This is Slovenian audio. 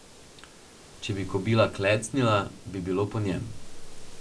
Če bi kobila klecnila, bi bilo po njem.